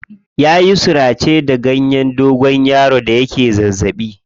Ya yi surace da ganyen dogonyaro da yake zazzaɓi.